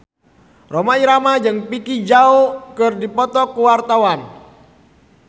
Rhoma Irama jeung Vicki Zao keur dipoto ku wartawan